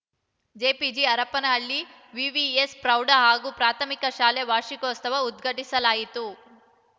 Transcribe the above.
JPG Harapanahalli VVS ಪ್ರೌಢ ಹಾಗೂ ಪ್ರಾಥಮಿಕ ಶಾಲೆ ವಾರ್ಷಿಕೋತ್ಸವ ಉದ್ಘಾಟಿಸಲಾಯಿತು